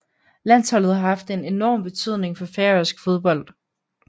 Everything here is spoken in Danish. Landsholdet har haft enorm betydning for færøsk fodbold